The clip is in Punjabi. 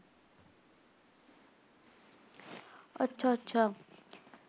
ਅੱਛਾ-ਅੱਛਾ